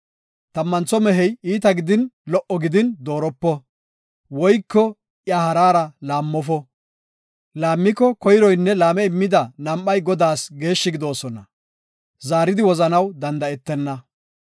Tammantho mehey iita gidin, lo77o gidin dooropo; woyko iya haraara laammofo. Laammiko, koyroynne laame immida nam7ay Godaas geeshshi gidoosona; zaaridi wozanaw danda7etenna.